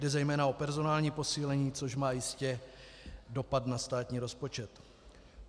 Jde zejména o personální posílení, což má jistě dopad na státní rozpočet.